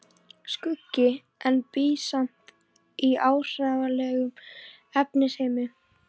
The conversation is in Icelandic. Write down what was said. Skuggi, en bý samt í áþreifanlegum efnisheimi.